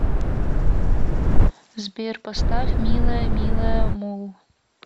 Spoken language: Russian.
сбер поставь милая милая мулл